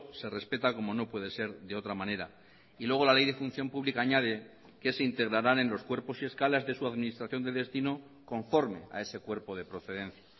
se respeta como no puede ser de otra manera y luego la ley de función pública añade que se integrarán en los cuerpos y escalas de su administración de destino conforme a ese cuerpo de procedencia